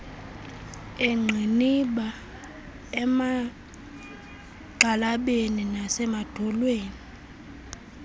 eengqiniba emagxalabeni nasemadolweni